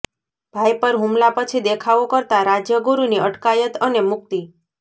ભાઈ પર હુમલા પછી દેખાવો કરતાં રાજ્યગુરુની અટકાયત અને મુક્તિ